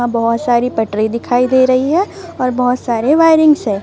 यहां बहुत सारी पटरी दिखाई दे रही है और बहुत सारे वायरिंगस है।